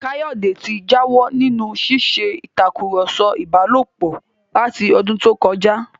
Káyọ̀dé ti jáwọ́ nínú ṣíṣe ìtakùrọ̀sọ ìbálòpọ̀ láti ọdún tó kọjá